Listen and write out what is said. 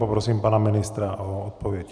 Prosím pana ministra o odpověď.